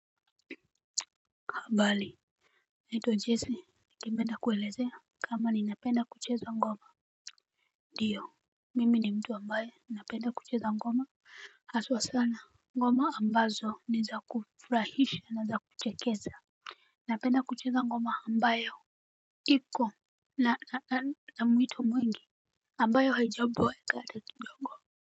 Habari, naitwa Jesse ningependa kuelezea kama ninapenda kucheza ngoma. Ndio. Mimi ni mtu ambaye napenda kucheza ngoma. Haswa sana ngoma ambazo ni za kufurahisha na za kuchekesha. Napenda kucheza ngoma ambayo. Niko na mwito mwingi ambayo haijaboeka hata kidogo.